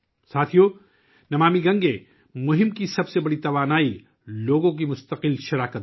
ساتھیو ، 'نمامی گنگے' مہم کی سب سے بڑی توانائی لوگوں کی مسلسل شرکت ہے